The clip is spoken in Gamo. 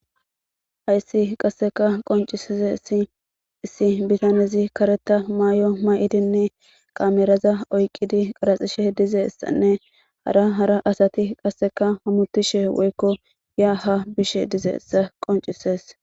Haysi kaseka qonchisizaysi issi bitanezi kareta mayuwa mayidine kaameraza karaxishe dizaysane hara asati kaseka hamutishe woyko ya ha bishe dizaysa qonchises.